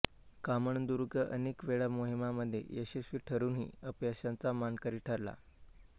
कामणदुर्ग अनेक वेळा मोहिमांमध्ये यशस्वी ठरूनही अपयशाचा मानकरी ठरला